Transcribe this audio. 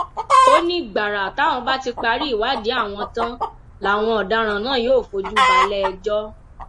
ó ní gbàrà táwọn bá ti parí ìwádìí àwọn tán làwọn ọdaràn náà yóò fojú balẹẹjọ